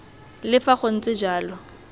le fa go ntse jalo